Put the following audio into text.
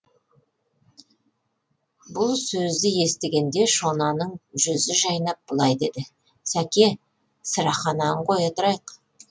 бұл сөзді естігенде шонаның жүзі жайнап былай дейді сәке сырахананы қоя тұрайық